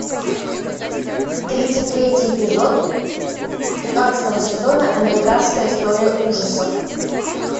тридцать третий эпизод пятнадцатого сезона американская история ужасов